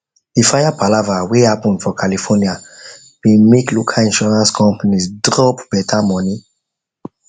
the fire palava whey happen for california bin make make local insurance companies drop better money